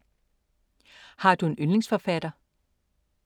Har du en yndlingsforfatter?